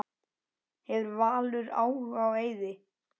Hefur Valur áhuga á Eiði?